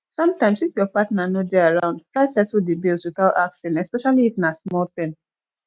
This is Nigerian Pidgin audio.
sometimes if your partner no de around try settle di bills without asking especially if na small thing